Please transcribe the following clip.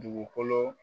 Dugukolo